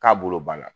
K'a bolo banna